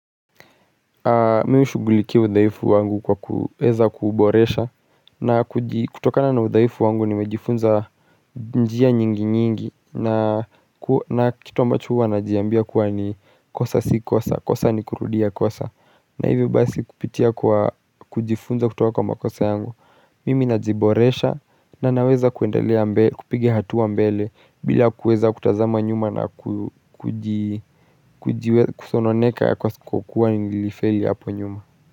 Mi hushuguliki udaifu wangu kwa kuweza kuboresha na kutokana na udaifu wangu nimejifunza njia nyingi nyingi na kitu ambacho huwa najiambia kuwa ni kosa si kosa kosa ni kurudia kosa na hivyo basi kupitia kujifunza kutoka kwa makosa yangu Mimi najiboresha na naweza kupige hatua mbele bila kuweza kutazama nyuma na kusononeka ya kwa kukua nilifeli hapo nyuma.